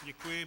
Děkuji.